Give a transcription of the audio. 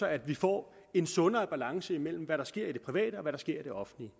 at vi får en sundere balance mellem hvad der sker i det private og hvad der sker i det offentlige